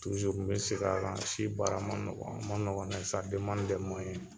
Tuzuru n be segn a kan si baara ma nɔgɔ a man nɔgɔ mɛ sa demande demuwayɛn